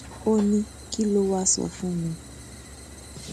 ó ní kí ló wáá sọ fún mi